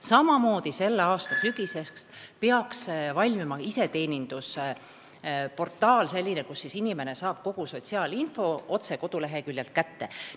Samamoodi peaks selle aasta sügiseks valmima iseteenindusportaal – selline, kust inimene saab kogu sotsiaalinfo otse koduleheküljelt kätte.